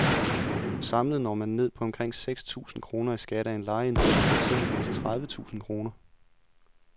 Samlet når man ned på omkring seks tusind kroner i skat af en lejeindtægt på eksempelvis tredive tusind kroner.